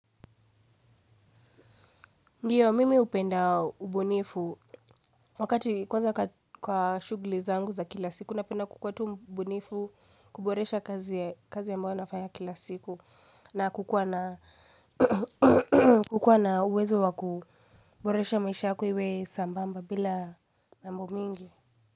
Ndiyo, mimi hupenda ubunifu wakati kwanza kwa shughuli zangu za kila siku, napenda kukuwa tu mbunifu kuboresha kazi ambayo nafanya kila siku na kukuwa na uwezo wa kuboresha maisha yako iwe sambamba bila mambo mingi.